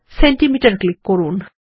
centimetre click করুন